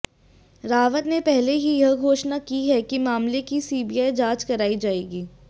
रावत ने पहले ही यह घोषणा की है कि मामले की सीबीआई जांच कराई जाएगी